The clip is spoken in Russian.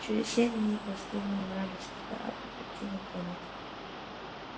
через семь дней последний вражеский корабль покинул планету